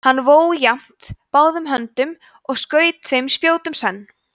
hann vó jafnt báðum höndum og skaut tveim spjótum senn